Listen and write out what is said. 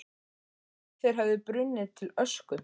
Ég hélt þeir hefðu brunnið til ösku.